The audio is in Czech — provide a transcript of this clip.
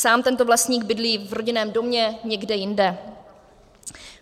Sám tento vlastník bydlí v rodinném domě někde jinde.